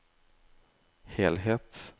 helhet